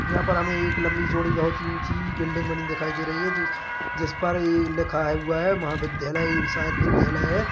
यहाँ पर हमे एक लंबी चौड़ी बहुत ही ऊंची बिल्डिंग बनी दिखाई दे रही है जिस पर ये लीखा हुआ है महाविद्यालय ये शायद विद्यालय है।